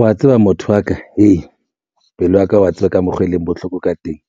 Wa tseba motho wa ka pelo ya ka wa tseba ka mokgo e leng bohloko ka teng,